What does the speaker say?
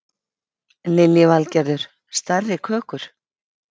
Lillý Valgerður: Stærri kökur?